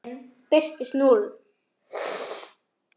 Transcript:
Í þriðja skiptið birtist núll.